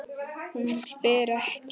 Hún spyr ekki.